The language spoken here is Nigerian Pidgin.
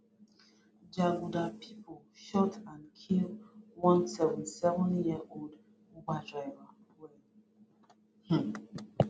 jaguda pipo shoot and kill one seventy seven year old uber driver wen um